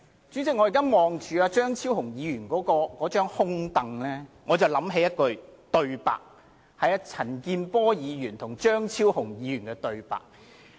主席，我望着張超雄議員的空椅，不期然想起陳健波議員和張超雄議員的對話。